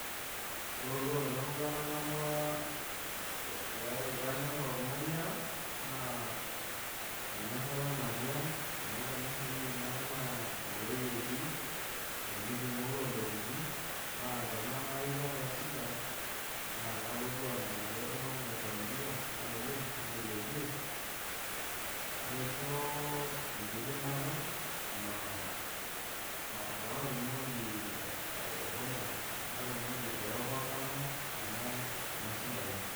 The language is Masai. Ore orkuak nanu latangamua peeku kanyorr ormanyara naa enyorrata natii ang' amu tenashukunyie naa inewueji etii enkiti oontokitin naa tenaa naai kaata shida naa kelotu ana gare iltunganak le familia laibung' nailepie naisho enkidimata paatumoki aiovercoma kuna shidaai.